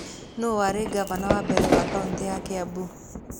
Nũũ warĩ ngavana wa mbere wa Kaunti ya Kiambu?